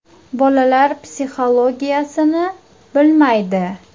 Bolalar psixologiyasini bilmaydi.